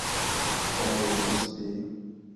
павел базбей